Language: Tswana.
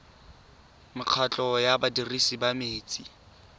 mekgatlho ya badirisi ba metsi